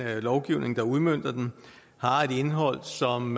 lovgivning der udmønter den har et indhold som